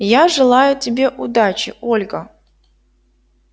я желаю тебе удачи ольга